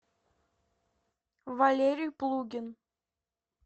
валерий плугин